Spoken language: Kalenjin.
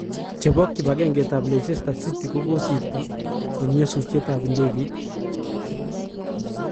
Chepo kipangenget ap Leicester city kokosirto en nyasutiet ap ndegeit.